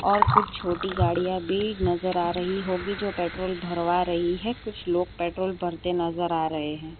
और कुछ छोटी गाड़ियां भी नज़र आ रही होगी जो पेट्रोल भरवा रही है कुछ लोग पेट्रोल भरते नजर आ रहे हैं।